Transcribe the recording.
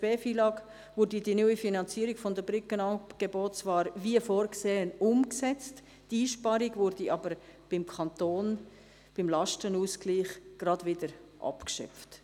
b FILAG würde die neue Finanzierung von Brückenangeboten zwar wie vorgesehen umgesetzt, die Einsparung würde aber beim Kanton, beim Lastenausgleich, gleich wieder abgeschöpft;